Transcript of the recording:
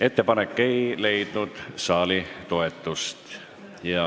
Ettepanek ei leidnud saali toetust.